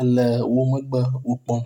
ele wómegbe wókpɔm